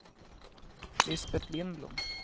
Lisbeth Lindblom